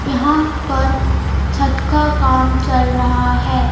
यहाँ पर छत का काम चल रहा है.